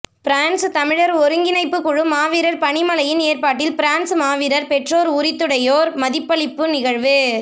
France தமிழர் ஒருங்கிணைப்புக்குழு மாவீரர் பணிமனையின் ஏற்பாட்டில் பிரான்சு மாவீரர் பெற்றோர் உரித்துடையோர் மதிப்பளிப்பு நிகழ்வு